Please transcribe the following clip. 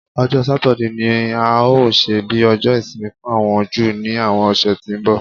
Ọjọ́ Satide ni a óò ṣe bí Ọjọ́ Ìsinmi fún àwọn Júù ní àwọn ọ̀sẹ̀ tí ń bọ̀